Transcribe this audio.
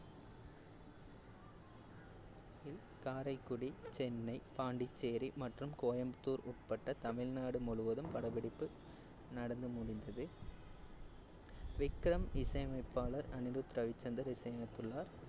காரைக்குடி, சென்னை, பாண்டிச்சேரி மற்றும் கோயம்புத்தூர் உட்பட்ட தமிழ்நாடு முழுவதும் படப்பிடிப்பு நடந்து முடிந்தது விக்ரம் இசையமைப்பாளர் அனிருத் ரவிச்சந்தர் இசையமைத்துள்ளார்